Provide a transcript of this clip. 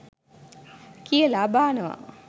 කියලා බානවා